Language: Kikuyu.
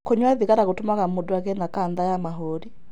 Kũnyua thigara gũtũmaga mũndũ agĩe na kanca ya mahũri.